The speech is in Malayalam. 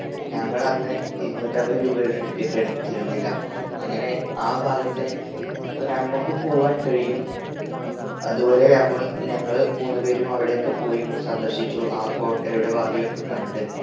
ഞങ്ങളന്ന് ഇരുന്നൂറ്റന്പത് രൂപയുടെ ticket എടുത്തിരുന്നില്ല. അങ്ങനെ ആ ഭാഗത്തേക്ക് നമ്മക്കും പോകാൻ കഴിയും. അത്പോലെ നമ്മൾ ഞങ്ങൾ മൂന്ന് പേരും അവിടേക്ക് പോയി ഒന്ന് സന്ദർശിച്ചു ആ കോട്ടയുടെ വാതിലൊക്കെ കണ്ട്